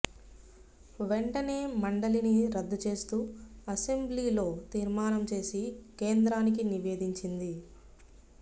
వెంటనే మండలిని రద్దు చేస్తూ అసెంబ్లీలో తీర్మానం చేసి కేంద్రానికి నివేదించింది